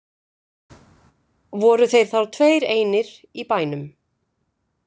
Voru þeir þá tveir einir í bænum.